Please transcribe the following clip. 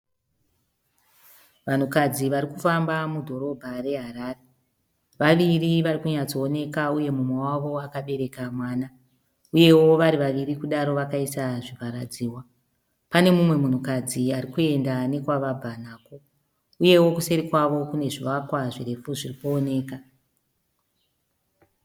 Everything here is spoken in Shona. Vanhukadzi vari kufamba mudhorobha reHarare. Variviri vari kunyatsooneka uye mumwe wavo akabereka mwana. Uyewo vari vaviri kudaro vakaisa zvivharadzihwa. Pane mumwe munhukadzi ari kuenda nekwavabva nako. Uyewo kuseri kwavo kune zvivakwa zvirefu zviri kuoneka.